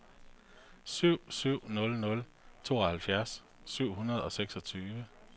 syv syv nul nul tooghalvfjerds syv hundrede og seksogtyve